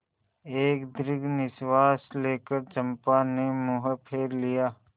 एक दीर्घ निश्वास लेकर चंपा ने मुँह फेर लिया